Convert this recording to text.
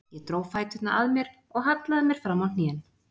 Ég dró fæturna að mér og hallaði mér fram á hnén.